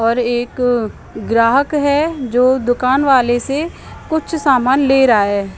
और एक ग्राहक है जो दुकान वाले से कुछ सामान ले रहा है ।